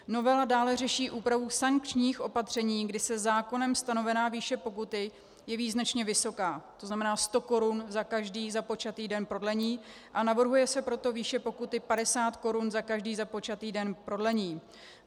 Novela dále řeší úpravu sankčních opatření, kdy se zákonem stanovená výše pokuty jeví značně vysoká, to znamená 100 korun za každý započatý den prodlení, a navrhuje se proto výše pokuty 50 korun za každý započatý den prodlení.